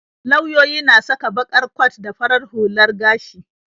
Lauyoyi na saka baƙar kwat da farar hular gashi.